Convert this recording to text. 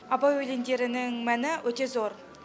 абай өлеңдерінің мәні өте зор